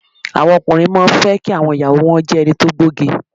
Àwọn ọkùnrin má a fẹ́ kí àwọn ìyàwó o wọn jé ẹni to gbóge